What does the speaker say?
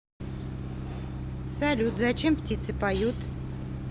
салют зачем птицы поют